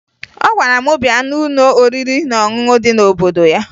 Ọ gwara m bịa n'ụlọ oriri na ọṅụṅụ dị n'obodo ya